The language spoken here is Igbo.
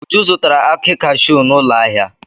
Uju zụtara akị cashew n'ụlọ ahịa.